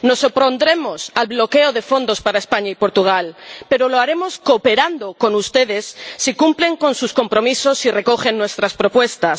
Nos opondremos al bloqueo de fondos para España y Portugal, pero lo haremos cooperando con ustedes si cumplen con sus compromisos y recogen nuestras propuestas.